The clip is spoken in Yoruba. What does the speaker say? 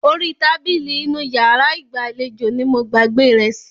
Orí tábìlì inú iyàrá ìgbàlejò ní mo gbàgbé rẹ̀ sí.